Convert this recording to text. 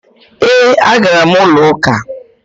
E, a gara m ulo uka.